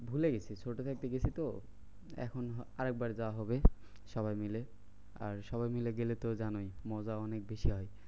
ভুলে গেছি ছোট থাকতে গেছি তো এখন আরেকবার যাওয়া হবে সবাই মিলে। আর সবাই মিলে গেলে তো জানোই মজা অনেক বেশি হয়।